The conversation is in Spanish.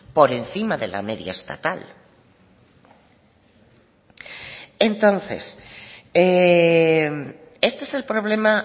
por encima de la media estatal entonces este es el problema